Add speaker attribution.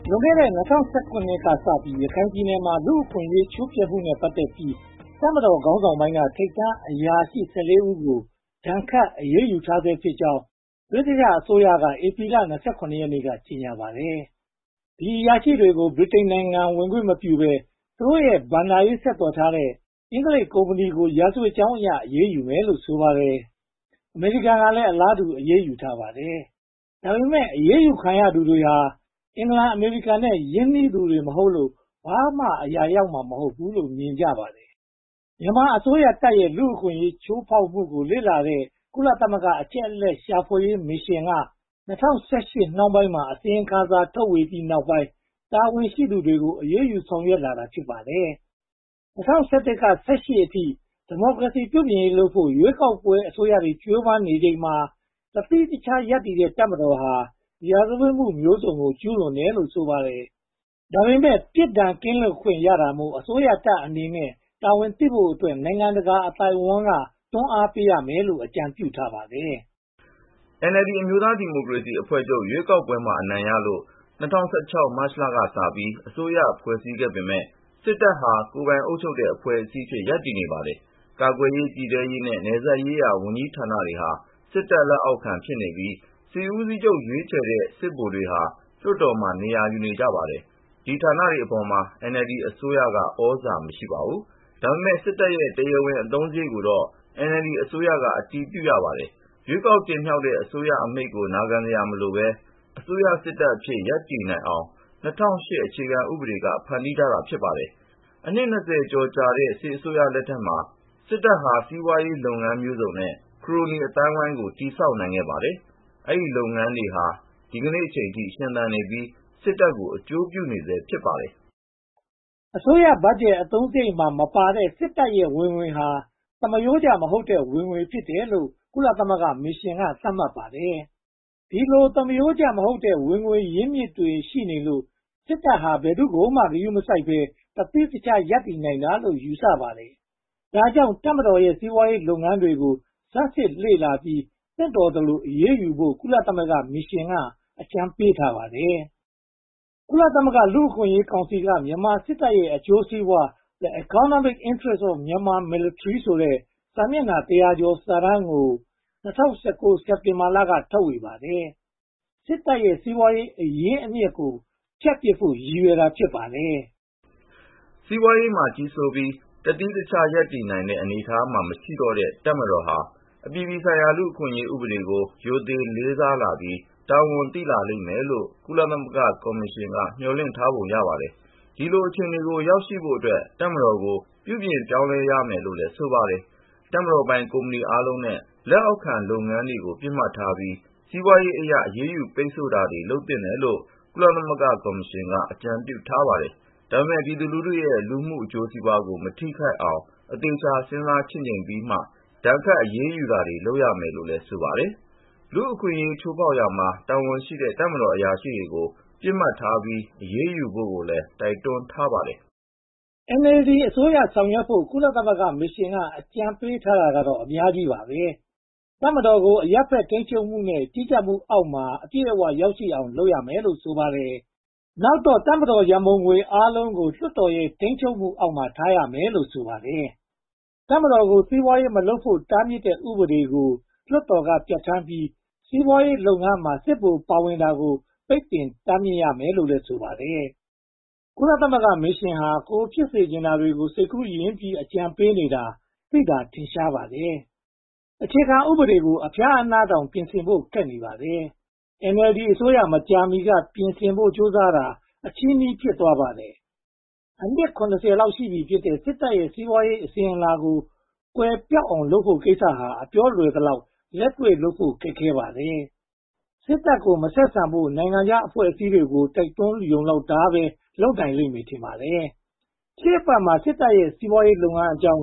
Speaker 1: လွန်ခဲ့တဲ့ (၂၀၀၇) ကစပြီး ရခိုင်ပြည်နယ်မှာ လူ့အခွင့်အရေးချိုးဖျက်မှုနဲ့ ပတ်သက်ပြီး တပ်မတော်ခေါင်းဆောင်ပိုင်းက ထိပ်တန်းအရာရှိ (၁၄) ဦးကို ဒဏ်ခတ်အရေးယူထားဆဲ့ဖြစ်ကြောင်း ဗြိတိသျှအစိုးရက ဧပြီလ (၂၇) ရက်နေ့က ကြေညာပါတယ်။ ဒီအရာရှိတွေကို ဗြိတိန်နိုင်ငံဝင်ခွင့်မပြုဘဲ၊ သူတို့နဲ့ ဘဏ္ဍာရေးဆက်သွယ်တဲ့ အင်္ဂလိပ်ကုမ္ပဏီကို ရာဇဝင်ကြောင်းအရ အရေးယူမယ်လို့ ဆိုပါတယ်။ အမေရိကန်ကလည်း အလားတူ အရေးယူထားပါတယ်။ ဒါပေမဲ့ အရေးယူခံရသူတွေဟာ အင်္ဂလန်၊ အမေရိကန်တို့နဲ့ ရင်းနှီးသူတွေ မဟုတ်လို့ ဘာမှအရာရောက်မှာ မဟုတ်ဘူးလို့ မြင်ကြပါတယ်။ မြန်မာအစိုးရတပ်ရဲ့ လူ့အခွင့်အရေး ချိုးဖောက်မှုကို စုံစမ်းလေ့လာတဲ့ ကုလသမဂ္ဂအချက်အလက် ရှာဖွေရေးမစ်ရှင်က (၂၀၁၈) နှောင်းပိုင်းမှာ အစီရင်ခံစာထုတ်ဝေပြီးတဲ့ နောက်ပိုင်း တာဝန်ရှိသူတွေကို အရေးယူဖို့ ဆောင်ရွက်လာတာ ဖြစ်ပါတယ်။ ၂၀၁၁ ကနေ ၂၀၁၈ အထိ ဒီမိုကရေစီ ပြုပြင်ရေးလုပ်ဖို့ ရွေးကောက်ပွဲအစိုးရတွေ ကြိုးပမ်းချိန်မှာ တသီးတခြား ရပ်တည်နေတဲ့ တပ်မတော်ဟာ ရာဇဝတ်မှုမျိုးစုံကို ကျူးလွန်တယ်လို့ ဆိုပါတယ်။ ဒါပေမဲ့ ပြစ်ဒဏ်ကင်းလွတ်ခွင့်ရနေတာမို့ အစိုးရတပ်အနေနဲ့ တာဝန်သိဖို့အတွက် နိုင်ငံတကာအသိုင်းအဝိုင်းက တွန်းအားပေးရမယ်လို့ အကြံပြုထားပါတယ်
Speaker 2: ။ NLD အမျိုးသားဒီမိုကရေစီအဖွဲ့ချုပ် ရွေးကောက်ပွဲအနိုင်ရလို့ (၂၀၁၆) မတ်လကစပြီး အစိုးရဖွဲ့စည်းခဲ့ပေမယ့် စစ်တပ်ဟာ သီးသန့်အဖွဲ့အစည်းအဖြစ် ရပ်တည်နေပါတယ်။ ကာကွယ်ရေး၊ ပြည်ထဲရေးနဲ့ နယ်စပ်ရေးရာဝန်ကြီးဌာနတွေဟာ စစ်တပ်လက်အောက်ခံဖြစ်နေပြီး စစ်ဦးစီးချုပ် ရွေးချယ်တဲ့ စစ်ဗိုလ်တွေဟာ လွှတ်တော်မှာ နေရာယူကြပါတယ်။ ဒီဌာနတွေအပေါ်မှာ NLD အစိုးရ သြဇာမရှိပါဘူး။ ဒါပေမဲ့ စစ်တပ်ရဲ့ တရားဝင်အသုံးစရိတ်ကိုတော့ NLD အစိုးရက အတည်ပြုရပါတယ်။ ရွေးကောက်တင်မြှောက်တဲ့ အစိုးရအမိန့်ကို နာခံစရာမလိုတဲ့ အစိုးရစစ်တပ်အဖြစ် ရပ်တည်နိုင်အောင် (၂၀၀၈) အခြေခံဥပဒေက ဖန်တီးထားတာ ဖြစ်ပါတယ်။ အနှစ် (၂၀) ကျော်ကြာတဲ့ စစ်အစိုးရလက်ထက်မှာ စစ်တပ်ဟာ စီးပွားရေးလုပ်ငန်းမျိုးစုံနဲ့ ခရိုနီအသိုင်းအဝိုင်းကို တည်ဆောက်နိုင်ခဲ့ပါတယ်။ အဲဒီလုပ်ငန်းတွေဟာ ဒီကနေအထိ ရှင်သန်နေပြီး စစ်တပ်ကို အကျိုးပြုနေဆဲ ဖြစ်ပါတယ်
Speaker 1: ။ အစိုးရဘတ်ဂျက်အသုံးစရိတ်မှာမပါတဲ့ စစ်တပ်ရဲ့ဝင်ငွေဟာ သမားရိုးကျမဟုတ်တဲ့ ဝင်ငွေဖြစ်တယ်လို့ ကုလသမဂ္ဂမစ်ရှင်က သတ်မှတ်ပါတယ်။ ဒီလိုသမာရိုးကျမဟုတ်တဲ့ ဝင်ငွေရင်းမြစ်တွေ ရှိနေလို့ စစ်တပ်ဟာ ဘယ်သူ့ကိုမှ ဂရုမစိုက်ဘဲ တသီးတခြား ရပ်တည်နိုင်တာလို့ ယူဆပါတယ်။ ဒါကြောင့် တပ်မတော်ရဲ့ စီးပွားရေးလုပ်ငန်းတွေကို ဆန်းစစ်လေ့လာပြီး သင့်တော်သလို အရေးယူဖို့ ကုလသမဂ္ဂမစ်ရှင်းက အကြံပေးထားပါတယ်။ ကုလသမဂ္ဂ လူ့အခွင့်အရေးကောင်စီက မြန်မာစစ်တပ်ရဲ့ အကျိုးစီးပွား The Economic Interests of Myanmar Military ဆိုတဲ့ စာမျက်နှာ တစ်ရာကျော်စာတမ်းကို ၂၀၁၉ စက်တင်ဘာလက ထုတ်ဝေပါတယ်။ စစ်တပ်ရဲ့ စီးပွားရေး အရင်းအမြစ်ကို ဖြတ်ပစ်ဖို့ ရည်ရွယ်တာ ဖြစ်ပါတယ်
Speaker 2: ။ စီးပွားရေးမှာ ကြီးစိုးပြီး တသီးတခြားရပ်တည်နိုင်တဲ့ အနေအထားမှာ မရှိတော့တဲ့ တပ်မတော်ဟာ အပြည်ပြည်ဆိုင်ရာ လူ့အခွင့်အရေးဥပဒေကို ရိုသေလေးစားလာပြီး၊ တာဝန်သိလာလိမ့်မယ်လို့ ကုလသမဂ္ဂမစ်ရှင်က မျှော်လင့်ထားပုံရပါတယ်။ ဒီလိုအခြေအနေကို ရောက်ဖို့အတွက် တပ်မတော်ကို ပြုပြင်ပြောင်းလဲရမယ်လို့လည်း ဆိုပါတယ်။ တပ်မတော်ပိုင် ကုမ္ပဏီအားလုံးနဲ့ လက်အောက်ခံလုပ်ငန်းတွေကို ပစ်မှတ်ထားပြီး စီးပွားရေးအရ အရေးယူပိတ်ဆို့မှုတွေ လုပ်သင့်တယ်လို့ ကုလသမဂ္ဂမစ်ရှင်က အကြံပြုထားပါတယ်။ ဒါပေမဲ့ ပြည်သူလူထုရဲ့ လူမှုအကျိုးစီးပွားကို မထိခိုက်အောင် အသေအချာ စဉ်းစားချင့်ချိန်ပြီးမှာ ဒဏ်ခတ်အရေးယူတာတွေ လုပ်ရမယ်လို့ ဆိုပါတယ်။ လူ့အခွင့်အရေး ချိုးဖျက်ရာမှာ တာဝန်ရှိတဲ့ တပ်မတော်အရာရှိတွေကို ပစ်မှတ်ထားပြီး အရေးယူဖို့လည်း တိုက်တွန်းထားပါတယ်
Speaker 1: ။ NLD အစိုးရဆောင်ရွက်ဖို့ ကုလသမဂ္ဂမစ်ရှင်က အကြံပေးထားတာတွေကတော့ အများကြီးပါပဲ။ တပ်မတော်ကို အရပ်ဘက်ထိန်းချုပ်မှုနဲ့ ကြီးကြပ်မှုအောက်ကို အပြည့်အဝ ရောက်ရှိအောင် လုပ်ဆောင်ရမယ်လို့ ဆိုပါတယ်။ နောက်တော့ တပ်မတော်ရန်ပုံငွေအားလုံးကို လွှတ်တော်ရဲ့ ထိန်းချုပ်မှုအောက်မှာ ထားရမယ်လို့ ဆိုပါတယ်။ တပ်မတော်ကို စီးပွားရေးမလုပ်ဖို့ တားမြစ်တဲ့ ဥပဒေကို လွှတ်တော်က ပြဌာန်းပြီး၊ စီးပွားရေးလုပ်ငန်းမှာ စစ်ဗိုလ်တွေ ပါဝင်နေတာကို ပိတ်ပင်တားမြစ်ရမယ်လို့လည်း ဆိုပါတယ်။ ကုလသမဂ္ဂမစ်ရှင်ဟာ ကိုယ်ဖြစ်စေချင်တာကို စိတ်ကူးယဉ်ပြီး အကြံပေးနေတာ သိသာထင်ရှားပါတယ်။ အခြေခံဥပဒေကို အဖျားအနားတောင် ပြင်ဆင်ဖို့ ခက်ခဲပါတယ်။ NLD အစိုးရက မကြာသေးမီက ပြင်ဆင်ဖို့ ကြိုးစားတာ အချည်းနှီး ဖြစ်သွားပါတယ်။ အနှစ် (၇၀) လောက်ရှိပြီဖြစ်တဲ့ စစ်တပ်ရဲ့ စီးပွားရေးအစဉ်အလာကို ကွယ်ပျောက်အောင်လုပ်ဖို့ကိစ္စဟာ အပြောလွယ်သလောက် လက်တွေ့လုပ်ဖို့ ခက်ခဲပါတယ်။ စစ်တပ်ကို မဆက်ဆံဖို့ နိုင်ငံခြားအဖွဲ့အစည်းတွေကို တိုက်တွန်းတာလောက်ပဲ လုပ်နိုင်လိမ့်မယ် ထင်ပါတယ်။ ရှေ့အပတ်မှာ အစိုးရတပ်ရဲ့ စီးပွားရေးလုပ်ငန်းအကြောင်း